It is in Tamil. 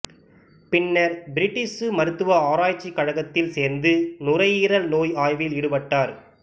பின்னர் பிரிட்டிசு மருத்துவ ஆராய்ச்சிக் கழகத்தில் சேர்ந்து நுரையீரல் நோய் ஆய்வில் ஈடுபட்டார்